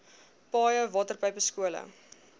paaie waterpype skole